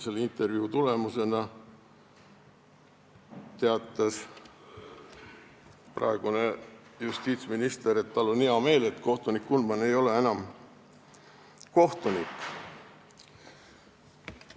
Selle intervjuu tulemusena teatas praegune justiitsminister, et tal on hea meel, et kohtunik Kunman ei ole enam kohtunik.